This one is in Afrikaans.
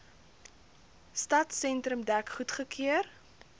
stadsentrum dek goedgekeur